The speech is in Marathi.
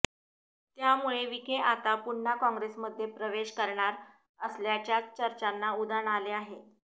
त्यामुळे विखे आता पुन्हा काँग्रेसमध्ये प्रवेश करणार असल्याच्या चर्चांना उधाण आले आहे